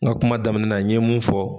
N ka kuma daminɛ na n ye mun fɔ